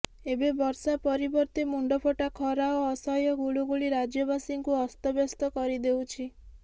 ଏବେ ବର୍ଷା ପରିବର୍ତ୍ତେ ମୁଣ୍ଡଫଟା ଖରା ଓ ଅସହ୍ୟ ଗୁଳଗୁଳି ରାଜ୍ୟବାସୀଙ୍କୁ ଅସ୍ତବ୍ୟସ୍ତ କରିଦେଉଛି